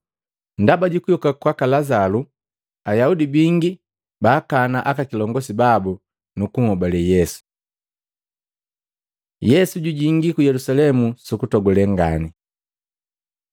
ndaba jukuyoka kwaka Lazalu, Ayaudi bingi baakana aka kilongosi babu, nukunhobale Yesu. Yesu jujingi ku Yelusalemu sukutogule ngani Matei 21:1-11; Maluko 11:1-11; Luka 19:28-40